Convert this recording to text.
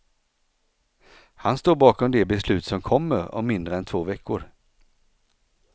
Han står bakom de beslut som kommer om mindre än två veckor.